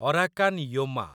Arakan Yoma